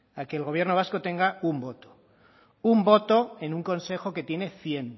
a que el gobierno vasco tenga un voto un voto en un consejo que tiene cien